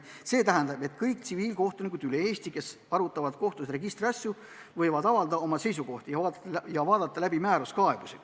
See tähendab, et kõik Eesti tsiviilkohtunikud, kes arutavad kohtus registriasju, võivad avaldada oma seisukohti ja vaadata läbi määruskaebusi.